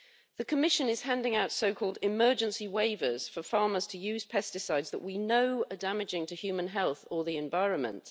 The Commission is handing out so-called emergency waivers' for farmers to use pesticides that we know are damaging to human health or the environment.